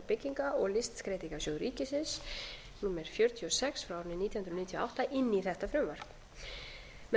bygginga og listskreytingasjóð ríkisins númer fjörutíu og sex nítján hundruð níutíu og átta inn í þetta frumvarp með